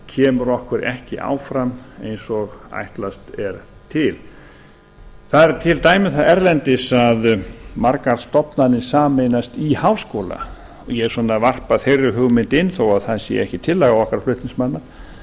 kemur okkur ekki áfram eins og ætlast er til það eru til dæmi um það erlendis að margar stofnanir sameinast í háskóla ég svona varpa þeirri hugmynd inn þó það sé ekki tillaga okkar flutningsmanna